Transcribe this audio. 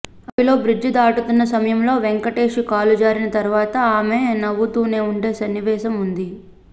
అడవిలో బ్రిడ్జి దాటుతున్న సమయంలో వెంకటేష్ కాలు జారిన తరువాత ఆమె నవ్వుతూనే ఉండే సన్నివేశం ఉంది